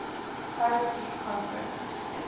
paris peace conference